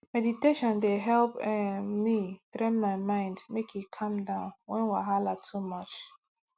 meditation dey help um me train my mind make e calm down when wahala too much